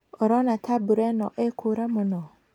ũrona ta mbura ĩno ĩĩkũũra mũno?